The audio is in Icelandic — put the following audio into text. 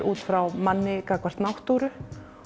út frá manni gagnvart náttúru